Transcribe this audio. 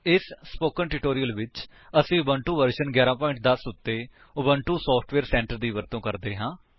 ਇਸ spoken tutorial ਵਿੱਚ ਅਸੀ ਉਬੁੰਟੂ ਵਰਜਨ 1110 ਉੱਤੇ ਉਬੁੰਟੂ ਸੋਫਟਵੇਅਰ ਸੈਂਟਰ ਦੀ ਵਰਤੋ ਕਰ ਰਹੇ ਹਾਂ